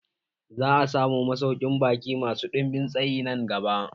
Za'a samu masaukin baƙi masu ɗinbin tsayi nan gaba.